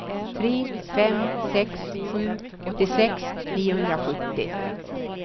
tre fem sex sju åttiosex niohundrasjuttio